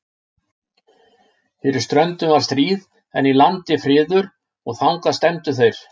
Fyrir ströndum var stríð, en í landi friður, og þangað stefndu þeir.